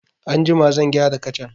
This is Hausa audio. Anjima zan gyara kacan.